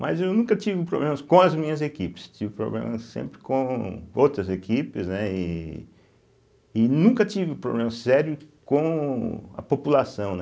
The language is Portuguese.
mas eu nunca tive problemas com as minhas equipes, tive problemas sempre com outras equipes, né, e e nunca tive problema sério com a população, né.